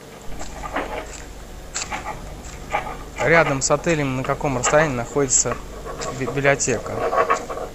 рядом с отелем на каком расстоянии находится библиотека